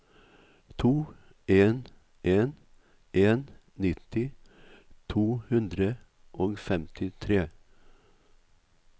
to en en en nitti to hundre og femtitre